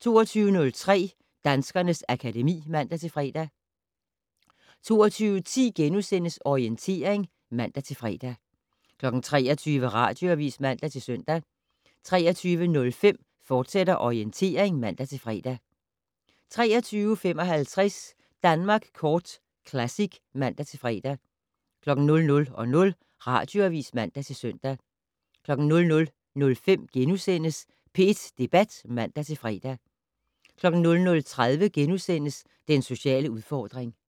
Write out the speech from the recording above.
22:03: Danskernes akademi (man-fre) 22:10: Orientering *(man-fre) 23:00: Radioavis (man-søn) 23:05: Orientering, fortsat (man-fre) 23:55: Danmark Kort Classic (man-fre) 00:00: Radioavis (man-søn) 00:05: P1 Debat *(man-fre) 00:30: Den sociale udfordring *